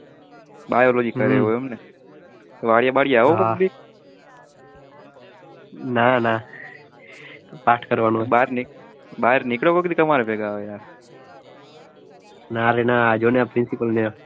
બહાર નિકડો હવે કોક દિ અમારા ભેગા હવે યા ના રે ના જોને આ principal આ